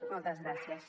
moltes gràcies